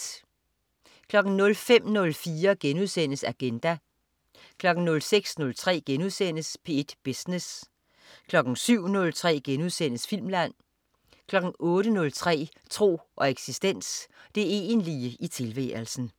05.04 Agenda* 06.03 P1 Business* 07.03 Filmland* 08.03 Tro og eksistens. Det egentlige i tilværelsen